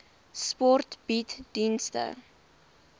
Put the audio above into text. sport bied dienste